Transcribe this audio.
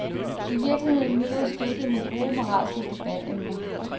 I virkeligheden myldrer stykket med gode moralske debatemner.